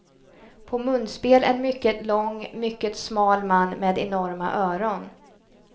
På munspel en mycket lång, mycket smal man med enorma öron.